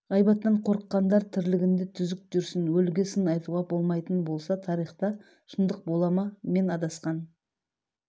ғайбаттан қорыққандар тірлігінде түзік жүрсін өліге сын айтуға болмайтын болса тарихта шындық бола ма мен адасқан